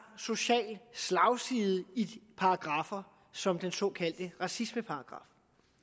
social slagside i paragraffer som den såkaldte racismeparagraf